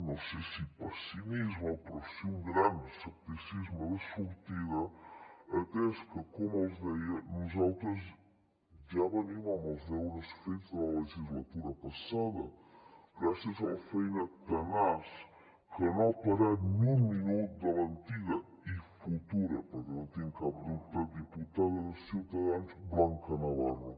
no sé si pessimisme però sí un gran escepticisme de sortida atès que com els deia nosaltres ja venim amb els deures fets de la legislatura passada gràcies a la feina tenaç que no ha parat ni un minut de l’antiga i futura perquè no en tinc cap dubte diputada de ciutadans blanca navarro